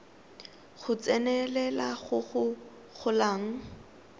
go tsenelela go go golang